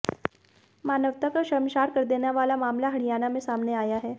मानवता को शर्मसार कर देने वाला मामला हरियाणा में सामने आया है